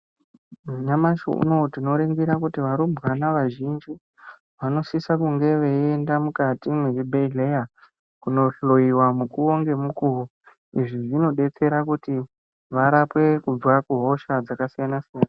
Nyamashi unouyu tinoringira kuti varumbwana vazhinji vanosisa kunge veienda mukati mwezvibhedhleya kunohloiwa mukuvo ngemukuvo. Izvi zvinobetsera kuti varapwe kubva kuhosha dzakasiyana-siyana.